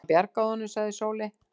Hann bjargaði honum, sagði Sóley.